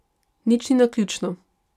Nič ni naključno.